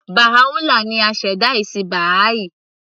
Baha'u'llah ni aṣẹ̀dá ẹ̀sìn Baha'i